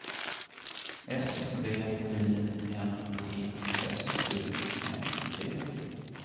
S V I N E S U N D